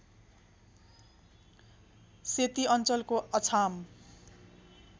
सेती अञ्चलको अछाम